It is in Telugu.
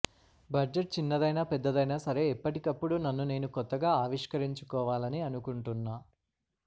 బడ్జెట్ చిన్నదైనా పెద్దదైనా సరే ఎప్పటికప్పుడు నన్ను నేను కొత్తగా ఆవిష్కరించుకోవాలని అనుకుంటున్నా